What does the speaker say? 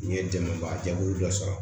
N'i ye dɛmɛba jaabi dɔ sɔrɔ